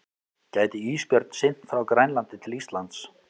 Gæti ísbjörn synt frá Grænlandi til Íslands?